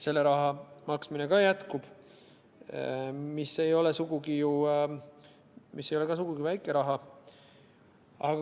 Selle raha maksmine ka jätkub, mis ei ole sugugi väike raha.